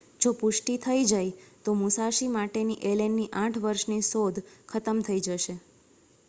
જો પુષ્ટિ થઈ જાય તો મુસાશી માટેની એલેનની 8 વર્ષની શોધ ખતમ થઈ જશે